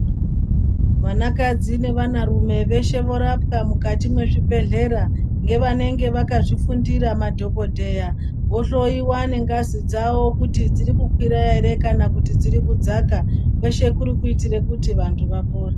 Vanakadzi nevana rume veshe vorapwa mukati mwezvibhedhlera. Ngevanenge vakazvifundira madhogodheya vohoiwa ngengazi dzavo kuti dziri kukwira ere kana kuti dziri kudzaka. Kweshe kurikuitire kuti vantu vapone.